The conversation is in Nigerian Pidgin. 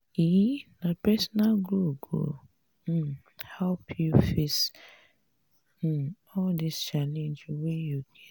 um na personal growth go um help you face um all di challenge wey you get.